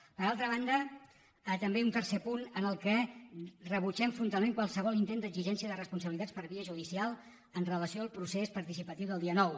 per altra banda també un tercer punt en què rebutgem frontalment qualsevol intent d’exigència de respon·sabilitats per via judicial amb relació al procés parti·cipatiu del dia nou